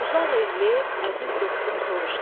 Uzaq illi əziz dostum soruşdu: